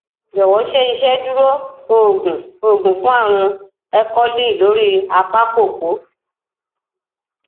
jowo ṣe iṣeduro oogun oogun fun arun ẹkọlì lori apá kòkó